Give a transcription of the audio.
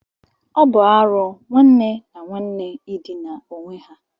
Ọ bụ arụ nwanne na nwanne ịdina onwe ha